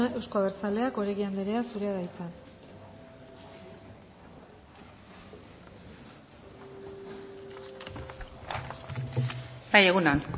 euzko abertzaleak oregi anderea zurea da hitza bai egun on